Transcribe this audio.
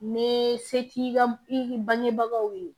Ni se t'i ka i bangebagaw ye